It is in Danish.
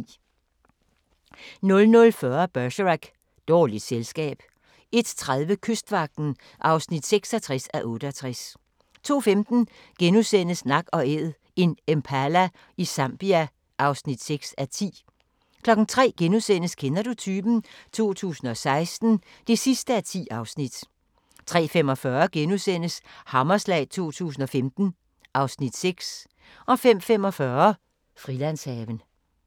00:40: Bergerac: Dårligt selskab 01:30: Kystvagten (66:68) 02:15: Nak & Æd – en impala i Zambia (6:10)* 03:00: Kender du typen? 2016 (10:10)* 03:45: Hammerslag 2015 (Afs. 6)* 05:45: Frilandshaven